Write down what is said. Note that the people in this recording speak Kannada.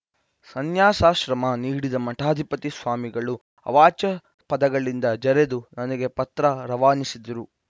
ಸನ್ಯಾಸಾಶ್ರಮ ನೀಡಿದ ಮಠಾಧಿಪತಿ ಸ್ವಾಮಿಗಳು ಅವಾಚ್ಯ ಪದಗಳಿಂದ ಜರೆದು ನನಗೆ ಪತ್ರ ರವಾನಿಸಿದರು